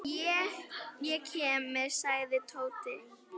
Ég kem með sagði Tóti.